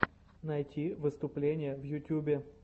найти выступления в ютьюбе